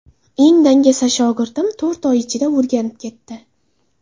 Eng dangasa shogirdim to‘rt oy ichida o‘rganib ketdi.